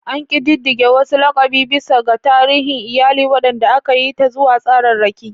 An ƙididdige wasu laƙabi bisa ga tarihin iyali, waɗanda aka yi ta zuwa tsararraki.